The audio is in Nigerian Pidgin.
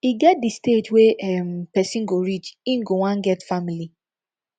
e get di stage wey um person go reach im go wan get family